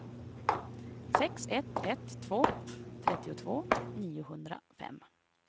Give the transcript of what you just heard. sex ett ett två trettiotvå niohundrafem